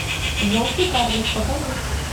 желтый карлик покажи